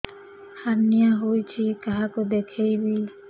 hernia ହୋଇଛି କାହାକୁ ଦେଖେଇବି